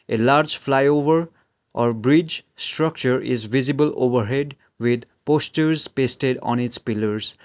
a large flyover or bridge structure is visible overhead with posters pasted on it's pillars.